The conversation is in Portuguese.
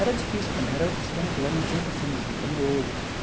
Era difícil também, era outros tempos né, não tinha o consumismo que tem hoje.